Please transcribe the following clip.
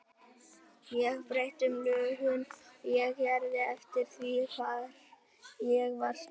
Ég breytti um lögun og gerð eftir því hvar ég var stödd.